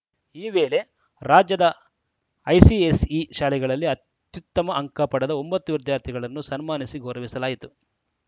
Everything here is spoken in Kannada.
ಈ ವೇಳೆ ರಾಜ್ಯದ ಐಸಿಎಸ್‌ಇ ಶಾಲೆಗಳಲ್ಲಿ ಅತ್ಯುತ್ತಮ ಅಂಕ ಪಡೆದ ಒಂಬತ್ತು ವಿದ್ಯಾರ್ಥಿಗಳನ್ನು ಸನ್ಮಾನಿಸಿ ಗೌರವಿಸಲಾಯಿತು